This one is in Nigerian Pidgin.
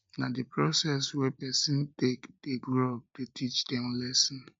na di process wey pesin take dey grow up dey teach dem lessons